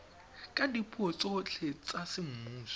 ka dipuo tsotlhe tsa semmuso